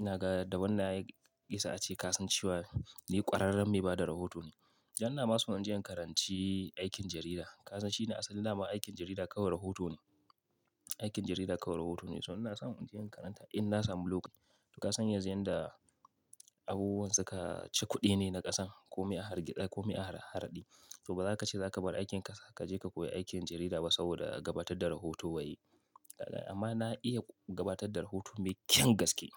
Ina gane da wannan ɗaya gisa ace ka san cewa ni ƙwararren mai ba da rahoto ne. Dan ina masu in je in karanci aikin jarida. Ka san shine asalin naman aikin jarida kawai rahoto ne. Aikin jarida kawai rahoto ne. So ina so in je in karanta in na samu lokacin. To ka san yanzu yan da abubuwan suka ci kuɗi ne na ƙasan kome a harge, kome a har, harɗi. To ba za ka ce za ka bar aikin ka ka je ka koyi aikin jarida ba saboda gabatar da rahoto ba yi. Ka gane? Amma na iya gabatar da rahoto mekyan gaske.